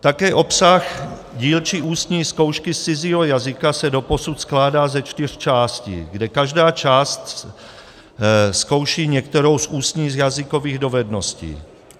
Také obsah dílčí ústní zkoušky z cizího jazyka se doposud skládá ze čtyř částí, kde každá část zkouší některou z ústních jazykových dovedností.